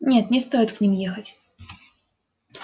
нет не стоит к ним ехать